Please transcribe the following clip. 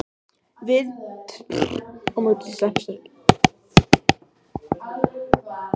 Við tökum land á þangi þöktum kletti.